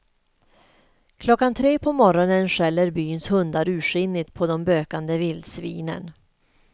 Klockan tre på morgonen skäller byns hundar ursinnigt på de bökande vildsvinen.